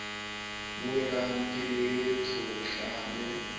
boelang ke le tshohla le